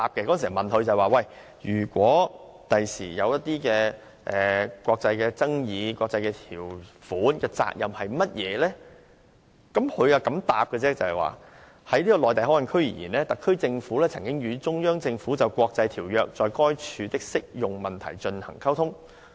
當時有議員問當局，如將來出現國際爭議，國際的條款責任為何？當局答覆如下："就'內地口岸區'而言，特區政府曾與中央政府就國際條約在該處的適用問題進行溝通。